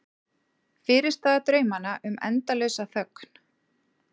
Fyrirstaða draumanna um endalausa þögn.